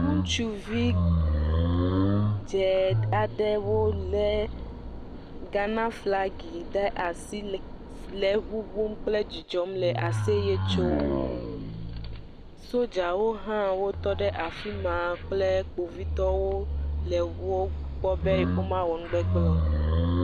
Ŋutsuvi dze aɖewo le Ghanaflagi ɖe asi le ŋuŋum kple dzidzɔm le aseye tsom. Sodzawo hã wotɔ ɖe afi ma kple kpovitɔwo le wo gbɔ be womawɔ nugbegble o.